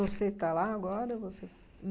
Você está lá agora? Ou você